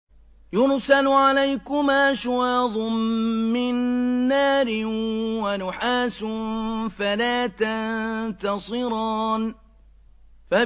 يُرْسَلُ عَلَيْكُمَا شُوَاظٌ مِّن نَّارٍ وَنُحَاسٌ فَلَا تَنتَصِرَانِ